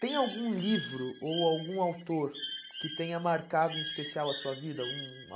Tem algum livro ou algum autor que tenha marcado em especial a sua vida? Algum